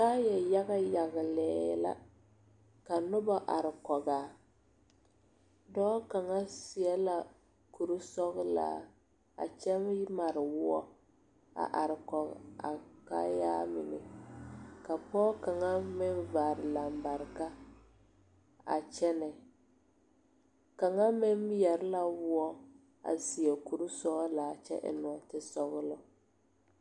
Kaaya yaga la yagle ka noba are kɔg a dɔɔ kaŋa seɛ la kure sɔglaa a kyɛ mare woɔ a are kɔge a kaayaa mine ka pɔge kaŋa meŋ vaare lambarika a kyɛnɛ kaŋa meŋ yɛre la a woɔ a seɛ kure sɔglaa kyɛ eŋ nɔɔtesɔglɔ.